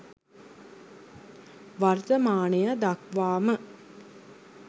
වර්තමානය දක්වා ම